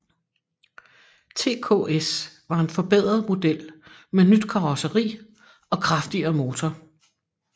TKS var en forbedret model med nyt karosseri og kraftigere motor